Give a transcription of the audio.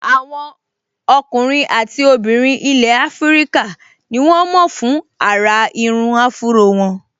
Àwọn ọkùnrin àti obìnrin ilẹ̀ áfríkà ní wọ́n mọ̀ fún àrà irun áfúró wọn